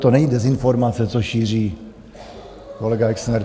To není dezinformace, co šíří kolega Exner.